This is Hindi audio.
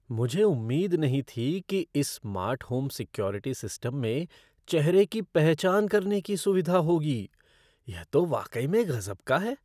मुझे उम्मीद नहीं थी कि इस स्मार्ट होम सिक्योरिटी सिस्टम में चेहरे की पहचान करने की सुविधा होगी। यह तो वाकई में गज़ब का है!